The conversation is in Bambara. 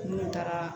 Minnu taara